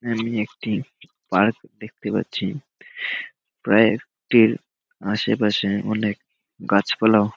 আমি একটি পার্ক দেখতে পাচ্ছি। পার্ক -টির আশেপাশে অনেক গাছপালাও--